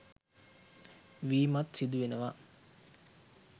වීමත් සිදු වෙනවා.